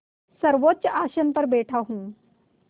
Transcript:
सर्वोच्च आसन पर बैठा हूँ